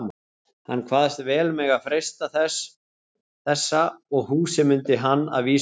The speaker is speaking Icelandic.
Hann kvaðst vel mega freista þessa, og húsið mundi hann að vísu finna.